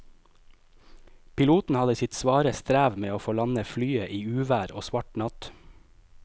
Piloten hadde sitt svare strev med å få landet flyet i uvær og svart natt.